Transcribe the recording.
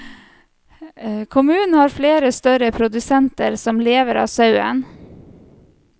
Kommunen har flere større produsenter som lever av sauen.